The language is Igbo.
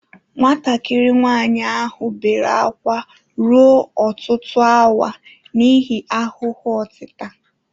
Nwatakịrị nwanyị ahụ bere ákwá ruo ọtụtụ awa n'ihi ahụhụ otita.